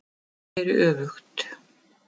Hann snéri öfugt